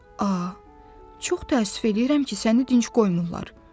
A, çox təəssüf eləyirəm ki, səni dincl qoymurlar.